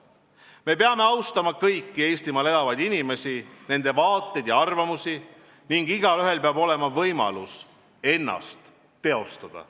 Me peame austama kõiki Eestimaal elavaid inimesi, nende vaateid ja arvamusi ning igaühel peab olema võimalus ennast teostada.